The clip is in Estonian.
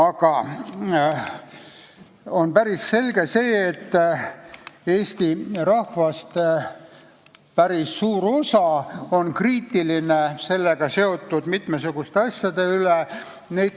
Aga on päris selge, et päris suur osa Eesti rahvast on kriitiline sellega seotud mitmesuguste asjade suhtes.